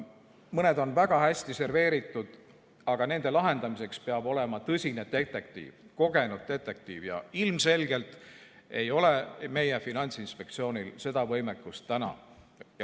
Mõned on väga hästi serveeritud ning nende lahendamiseks peab olema tõsine detektiiv, kogenud detektiiv ja ilmselgelt ei ole meie Finantsinspektsioonil praegu seda võimekust.